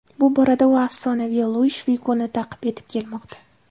Bu borada u afsonaviy Luish Figuni ta’qib etib kelmoqda.